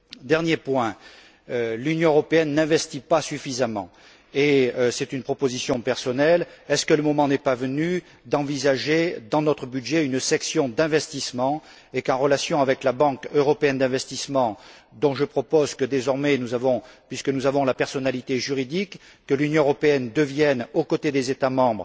Dernier point l'Union européenne n'investit pas suffisamment et ceci est une proposition personnelle est ce que le moment n'est pas venu d'envisager, dans notre budget, une section d'investissements et qu'en relation avec la Banque européenne d'investissement dont je propose que, désormais, puisque nous avons la personnalité juridique, l'Union européenne devienne un partenaire